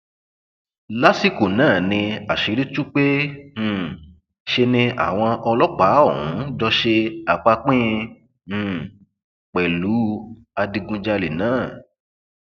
lásìkò náà ni àṣírí tú pé um ṣe ni àwọn ọlọpàá ọhún jọ ṣe àpàpín um pẹlú adigunjalè náà